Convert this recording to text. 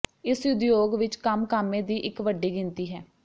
ਇਸ ਉਦਯੋਗ ਵਿਚ ਕੰਮ ਕਾਮੇ ਦੀ ਇੱਕ ਵੱਡੀ ਗਿਣਤੀ ਹੈ